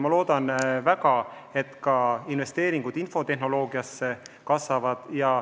Ma loodan väga, et ka investeeringud infotehnoloogiasse kasvavad.